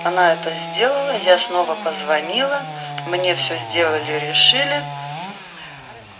она это сделала я снова позвонила мне всё сделали решили